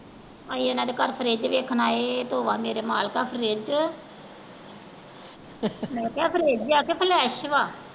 ਅਸੀਂ ਓਹਨਾ ਦੇ ਘਰ fridge ਵੇਖਣ ਆਏ ਤੋਬਾ ਮੇਰੇ ਮਾਲਕਾ fridge ਮੈਂ ਕਿਹਾ fridge ਵਾ ਕੇ flesh ਵਾ।